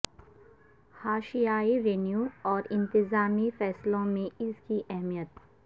حاشیائی revenue اور انتظامی فیصلوں میں اس کی اہمیت